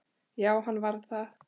Já, hann var það.